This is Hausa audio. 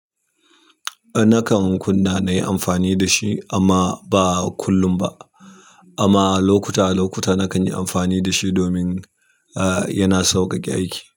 Nakan kunna na yi amfani da shi amma ba kullum ba. Amma lokuta lokuta nakan yi amfani da shi domin, ah, yana sauƙaƙe aiki.